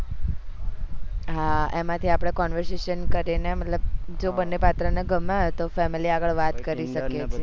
હા એમાં થી આપડે કરીને મતલબ જો બને પાત્ર ને ગમે તો family આગળ વાત કરી સકે છે